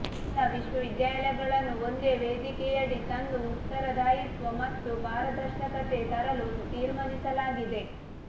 ಎಲ್ಲ ವಿಶ್ವವಿದ್ಯಾಲಯಗಳನ್ನು ಒಂದೇ ವೇದಿಕೆಯಡಿ ತಂದು ಉತ್ತರದಾಯಿತ್ವ ಮತ್ತು ಪಾರದರ್ಶಕತೆ ತರಲು ತೀರ್ಮಾನಿಸಲಾಗಿದೆ